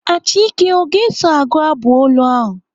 Achike ọ ga-eso agụ abụ olu ahụ?